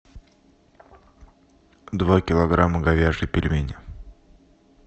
два килограмма говяжьи пельмени